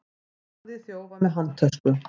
Barði þjófa með handtösku